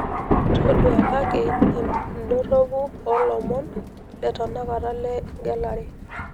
ndoduakaki idorropu oo ilomon le tenakata le igelare